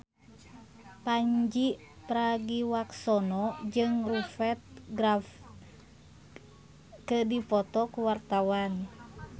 Pandji Pragiwaksono jeung Rupert Graves keur dipoto ku wartawan